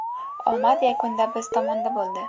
Omad yakunda biz tomonda bo‘ldi.